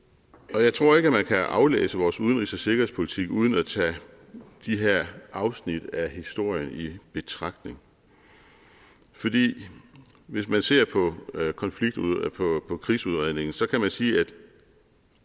jeg tror ikke at man kan aflæse vores udenrigs og sikkerhedspolitik uden at tage de her afsnit af historien i betragtning fordi hvis man ser på krigsudredningen så kan man sige at